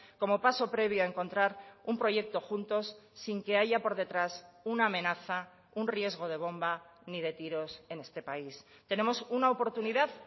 como paso previo a encontrar un proyecto juntos sin que haya por detrás una amenaza un riesgo de bomba ni de tiros en este país tenemos una oportunidad